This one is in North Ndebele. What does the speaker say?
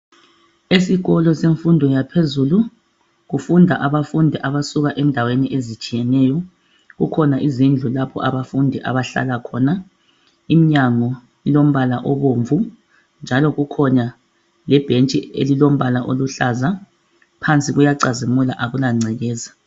Esikolo semfundo yaphezulu kufunda abafundi abasuka endaweni ezitshiyeneyo kukhona izindlu lapho abafundi abahlala khona iminyango ilombala obomvu njalo kukhona lebhentshi elilombala oluhlaza phansi kuyacazimula akula ngcekeza